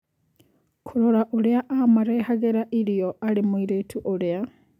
Kũrora ũrĩa amarehagĩra irio arĩ mũirĩtu ũrĩa.